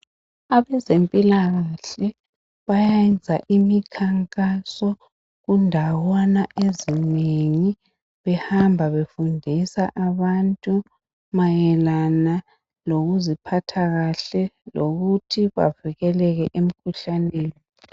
Abezempilakahle bayenza imikhankaso kundawana ezinengi. Behamba befundisa abantu mayelana lokuziphatha kahle lokuthi bavikeleke emkhuhlaneni.